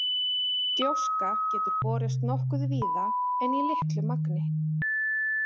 Gjóska getur borist nokkuð víða en í litlu magni.